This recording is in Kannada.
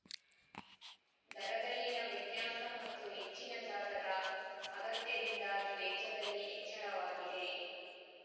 ದರದಲ್ಲಿನ ವ್ಯತ್ಯಾಸ ಮತ್ತು ಹೆಚ್ಚಿನ ಜಾಗದ ಅಗತ್ಯದಿಂದಾಗಿ ವೆಚ್ಚದಲ್ಲಿ ಹೆಚ್ಚಳವಾಗಿದೆ